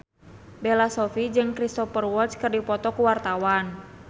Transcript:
Bella Shofie jeung Cristhoper Waltz keur dipoto ku wartawan